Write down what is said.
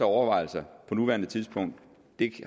overvejelser på nuværende tidspunkt